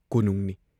ꯀꯣꯅꯨꯡꯅꯤ ꯫